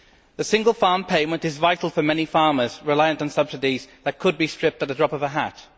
The single farm payment is vital for many farmers reliant on subsidies that could be stripped at the drop of a hat.